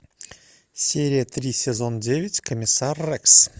серия три сезон девять комиссар рекс